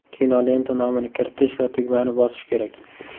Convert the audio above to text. Kinolenta nomini kiritish va tugmani bosish kerak.